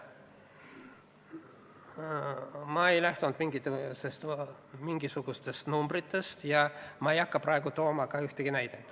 Ma ei lähtunud mingisugustest numbritest ja ma ei hakka praegu tooma ka ühtegi näidet.